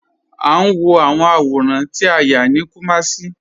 A n wọ awọn awọ̀rán tí a yá ni Kumasi.